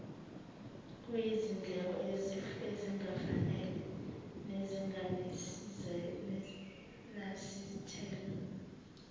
kuyizindleko ezingafanele nezingenazithelo